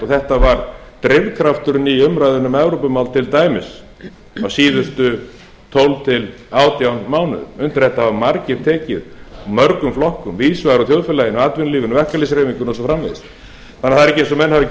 þetta var drifkrafturinn í umræðunni um evrópumál til dæmis á síðustu tólf til átján mánuðum undir þetta hafa margir tekið úr mörgum flokkum víðs vegar úr þjóðfélaginu atvinnulífinu verkalýðshreyfingunni og svo framvegis þannig að það er ekki eins og menn hafi ekki